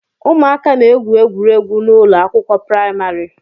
Ụmụaka na-egwu egwuregwu n'ụlọ akwụkwọ praịmarị